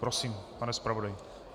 Prosím, pane zpravodaji.